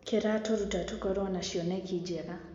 Kĩratuta tũkorwo na cioneki njega.